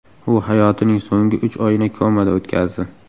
U hayotining so‘nggi uch oyini komada o‘tkazdi.